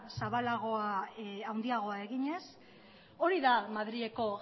zabalagoa handiagoa eginez hori da madrileko